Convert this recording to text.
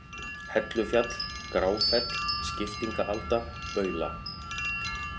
Hellufjall, Gráfell, Skiptingaalda, Baula